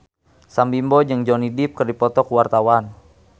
Sam Bimbo jeung Johnny Depp keur dipoto ku wartawan